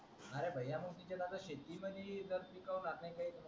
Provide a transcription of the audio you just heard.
अरे मा तिचे नादात शेती मधी पीक उगवणार काय